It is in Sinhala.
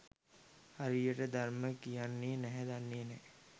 හරියට දර්මය කියන්නෙත් නැහැ දන්නෙත් නැහැ.